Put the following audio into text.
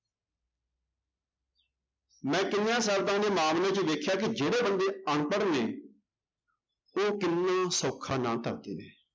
ਮੈਂ ਕਈਆਂ ਸਰਤਾਂ ਦੇ ਮਾਮਲੇ ਚ ਵੇਖਿਆ ਕਿ ਜਿਹੜੇ ਬੰਦੇ ਅਨਪੜ੍ਹ ਨੇ ਉਹ ਕਿੰਨੇ ਸੌਖਾ ਨਾਂ ਧਰਦੇ ਨੇ।